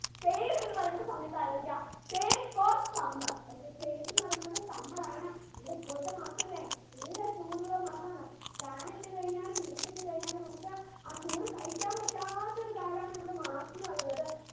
സയ്ദ് എന്ന് പറയുന്ന സമയത്ത് ആലോചിക്ക സയ്ദ് for summer okay സയ്ദ് എന്ന് പറയുന്നത് summer ആണ് ഇവിടെ ഇപ്പോഴത്തെ മാസല്ലേ നല്ല ചൂടുള്ള മാസാണ് fan ഇട്ട് കഴിഞ്ഞാലും AC ഇട്ട് കഴിഞ്ഞാലും നമുക്ക് ആ ചൂട് സഹിക്കാൻ പറ്റാത്ത ഒരു കാലാണ് നമ്മുടെ മാർച്ച് എന്ന് പറയുന്നത്